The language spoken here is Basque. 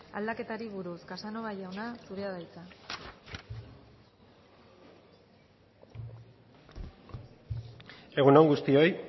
aldaketari buruz casanova jauna zurea da hitza egun on guztioi